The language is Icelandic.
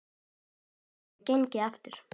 Allt þetta hefur gengið eftir.